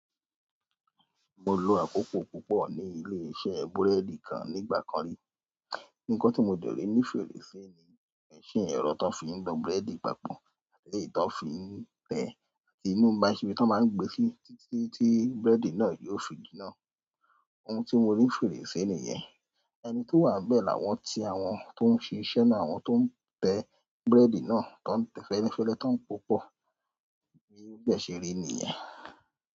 Mo lo àkókò púpọ̀ ní ilé-iṣẹ́ búrẹ́dì kan nígbà kan rí. Ǹkan tí mo dẹ̀rí ní fèrèsé ni mẹ̀ṣìn ẹ̀rọ tó fi ń nu búrẹ́dì papọ̀ eleyí tó fi ń tẹ àti inú aṣi ibí tí wọ́n máa ń gbé sí tí tí búrẹ́dì náà yóò fi jinná. Ohun tí mo rí fèrèsé nìyẹn. Ẹni tó wà bẹ́ẹ̀ làwọn ti àwọn tó ń ṣe iṣẹ́ náà àwọn tó ń tẹ búrẹ́dì náà, tó ń tẹ fẹ́lẹ́ fẹ́lẹ́ tọn púpọ̀. Bí ó bẹ́ẹ̀ ṣe rí nìyẹn.